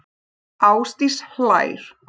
Ásdís hlær.